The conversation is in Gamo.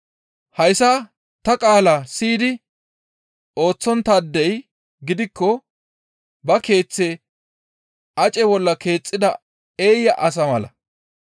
«Hayssa ta qaalaa siyidi ooththonttaadey gidikko ba keeththe ace bolla keexxida eeya asa mala.